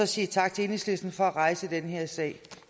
sige tak til enhedslisten for at rejse den her sag